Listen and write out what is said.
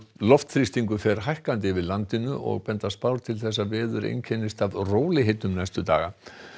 loftþrýstingur fer hækkandi yfir landinu og benda spár til þess að veður muni einkennast af rólegheitum næstu daga